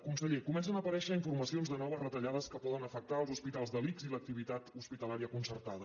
conseller comencen a aparèixer informacions de noves retallades que poden afectar els hospitals de l’ics i l’activitat hospitalària concertada